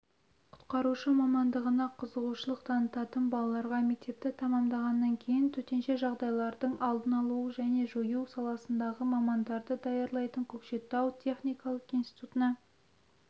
құтқарушы мамандығына қызығушылық танытатын балаларға мектепті тәмамдағаннан кейін төтенше жағдайлардың алдын-алу және жою саласындағы мамандарды даярлайтын көкшетау техникалық институтына